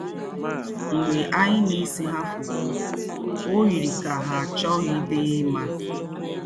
M̀gbè ànyì ná-èsé ha fótó, ó yirì kà ha àchọ̀ghídì ímà.